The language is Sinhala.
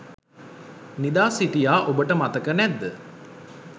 නිදා සිටියා ඔබට මතක නැද්ද?